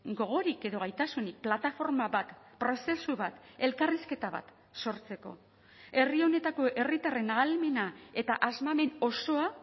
gogorik edo gaitasunik plataforma bat prozesu bat elkarrizketa bat sortzeko herri honetako herritarren ahalmena eta asmamen osoa